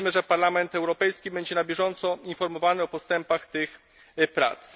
Liczymy, że Parlament Europejski będzie na bieżąco informowany o postępach tych prac.